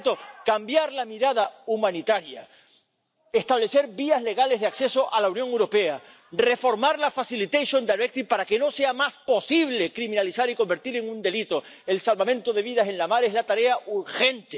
Por tanto, cambiar la mirada humanitaria, establecer vías legales de acceso a la Unión Europea, reformar la Directiva de ayuda para que no sea más posible criminalizar y convertir en un delito el salvamento de vidas en la mar es la tarea urgente.